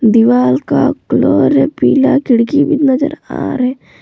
दीवाल का कलर है पीला खिड़की भी नजर आ रहे।